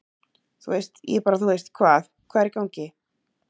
Þú veist, ég bara þú veist hvað, hvað er í gangi?